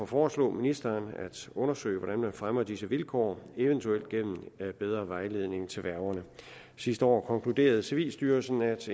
foreslå ministeren at undersøge hvordan man fremmer disse vilkår eventuelt gennem bedre vejledning til værgerne sidste år konkluderede civilstyrelsen at